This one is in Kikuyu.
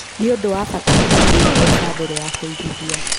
Nĩ ũndũ wa bata kũhonokia mbeca mbere ya kũigithia.